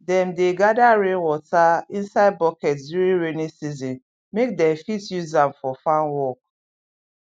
dem dey gather rainwater inside bucket during rainy season make dem fit use am for farm work